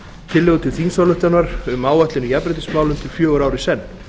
tillögu til þingsályktunar um áætlun í jafnréttismálum til fjögurra ára í senn